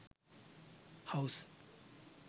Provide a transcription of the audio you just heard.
house